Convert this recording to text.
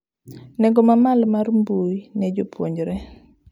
Nengo ma malo mar mbui ne jopuonjre